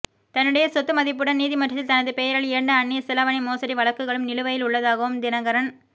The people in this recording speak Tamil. தன்னுடைய சொத்து மதிப்புடன் நீதிமன்றத்தில் தனது பெயரில் இரண்டு அன்னிய செலாவணி மோசடி வழக்குகளும் நிலுவையில் உள்ளதாகவும் தினகரன்